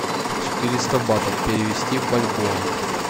четыреста батов перевести в бальбоа